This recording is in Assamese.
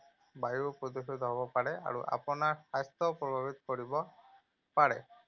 বায়ুও প্ৰদূষিত হ’ব পাৰে আৰু আপোনাৰ স্বাস্থ্যপ্ৰভাৱিত কৰিব পাৰে।